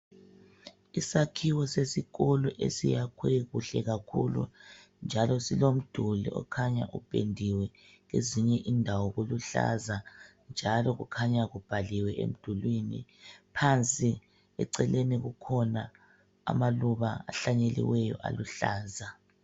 Isakhiwo sesikolo esiyakhwe kuhle kakhulu njalo silomduli okhanya upendiwe kwezinye indawo kuluhlaza njalo kukhanya kubhaliwe emdulwini phansi eceleni kukhona amaluba ahlanyeliweyo aluhlaza.